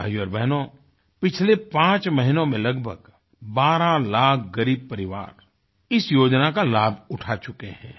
भाइयोंबहनों पिछले पाँच महीनों में लगभग बारह लाख ग़रीब परिवार इस योजना का लाभ उठा चुके हैं